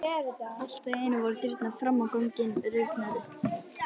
Allt í einu voru dyrnar fram á ganginn rifnar upp.